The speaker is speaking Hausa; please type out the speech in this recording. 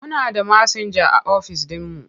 Muna da masinja a office ɗinmu.